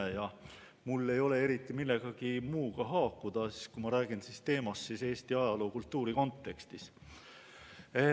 Ja kuna mul ei ole eriti millegi muuga haakuda, siis ma räägin teemast Eesti ajaloo ja kultuuri kontekstis.